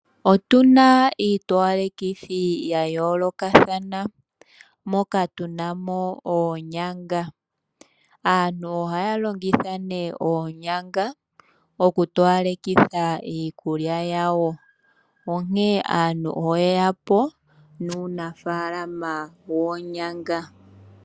Otu na iitowalekithi ya yoolokathana, moka tu na mo oonyanga. Aantu ohaya longitha oonyanga okutowalekitha iikulya yawo, onkene aantu oye ya po nuunafaalama woonyanga.